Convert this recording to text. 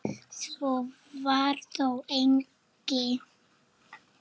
Svo var þó eigi.